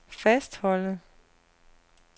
fastholde